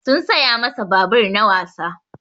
Sun saya masa babur na wasa.